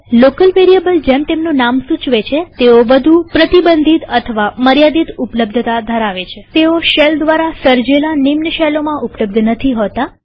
local વેરીએબલજેમ તેમનું નામ સૂચવે છે તેઓ વધુ પ્રતિબંધિત અથવા મર્યાદિત ઉપલબ્ધતા ધરાવે છે તેઓ શેલ દ્વારા સર્જેલા નિમ્ન શેલોમાં ઉપલબ્ધ નથી હોતા